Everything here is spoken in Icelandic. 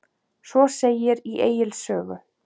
Svo segir í Egils sögu